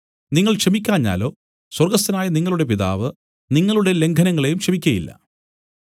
നിങ്ങൾ ക്ഷമിക്കാഞ്ഞാലോ സ്വർഗ്ഗസ്ഥനായ നിങ്ങളുടെ പിതാവ് നിങ്ങളുടെ ലംഘനങ്ങളെയും ക്ഷമിക്കയില്ല